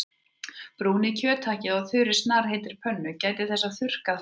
Brúnið kjöthakkið á þurri snarpheitri pönnu- gætið þess að þurrka það ekki.